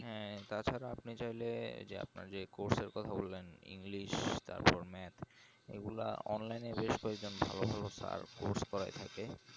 হ্যাঁ তাছাড়া আপনি চাইলে আপনার যে course এর কথা বললেন ইংরেজি তারপর math এগুলা online এ বেশ প্রয়োজন ভালো ভালো তার course করা থাকে